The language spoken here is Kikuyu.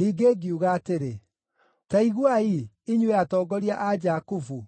Ningĩ ngiuga atĩrĩ, “Ta iguai, inyuĩ atongoria a Jakubu,